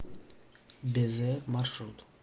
безе маршрут